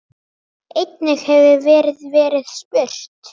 Einnig hefur verið verið spurt